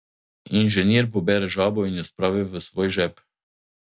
Inženir pobere žabo in jo spravi v svoj žep.